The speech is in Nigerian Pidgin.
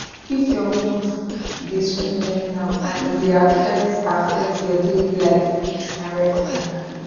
if your mood dey swing anyhow and e dey affect affect your daily life na red flag.